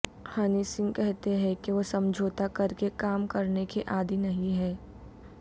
honey Singh کہتے ہیں کہ وہ سمجھوتہ کرکے کام کرنے کے عادی نہیں ہیں